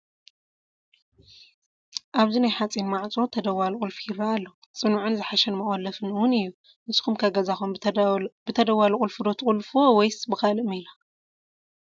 ኣብዚ ናይ ሓፂን ማዕፆ ተደዋሊ ቁልፊ ይረአ ኣሎ፡፡ ፅኑዕን ዝሓሸን መቖለፍን እውን እዩ፡፡ ንስኹም ከ ገዛኹም ብተደዋሊ ቁልፊ ዶ ትቑለፍዎ ወይስ ብካሊእ ሜላ?